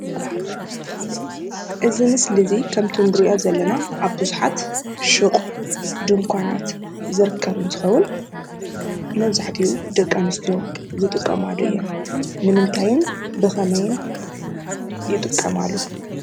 እዚ ምስሊ እዚ ከምቲ እንሪኦ ዘለና ኣብ ብዙሓት ሹቓትን ድንኳናትን ዝርከብ እንትከውን መብዛሕቲኡ ደቂ ኣነስትዮ ዝጥቀማሉ እዩ። ንምንታይ ብከመይን ይጥቀማሉ?